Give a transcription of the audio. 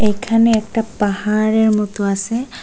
এখানে একটা পাহাড়ের মত আছে।